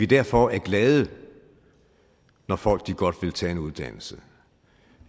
derfor glade når folk godt vil tage en uddannelse